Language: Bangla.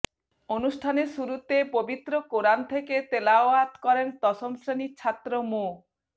অনুষ্ঠানের শুরুতে পবিত্র কোরআন থেকে তেলাওয়াত করেন দশম শ্রেণীর ছাত্র মো